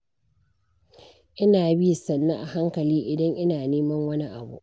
Ina bi sannu a hankali, idan ina neman wani abu.